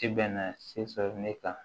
I bɛnna se sɔrɔ ne kan